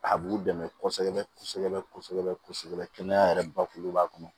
A b'u dɛmɛ kosɛbɛ kosɛbɛ kɛnɛya yɛrɛ bakuruba kɔnɔ